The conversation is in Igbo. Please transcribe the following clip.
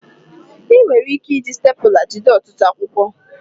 Ị nwere ike iji stepụla jide ọtụtụ akwụkwọ